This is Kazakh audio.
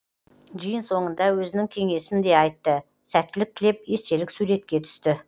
жиын соңында өзінің кеңесін де айтты сәттілік тілеп естелік суретке түсті